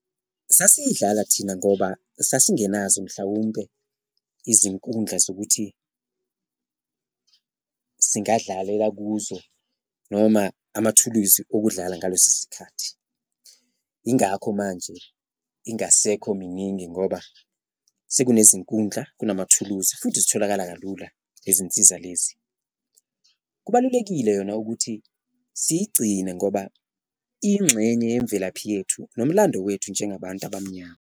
Sasiyidlala thina ngoba sasingenazo mhlawumpe izinkundla zokuthi singadlalela kuzo noma amathuluzi okudlala ngaleso sikhathi, ingakho manje ingasekho miningi ngoba sekunezinkundla, kunamathuluzi futhi zitholakala kalula lezi nsiza lezi. Kubalulekile yona ukuthi siyigcine ngoba iyingxenye yemvelaphi yethu nomlando wethu njengabantu abamnyama.